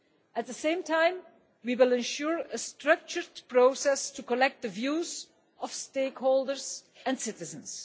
At the same time, we will ensure a structured process to collect the views of stakeholders and citizens.